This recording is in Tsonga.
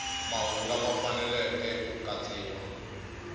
mahungu lama faneleke ku katsiwa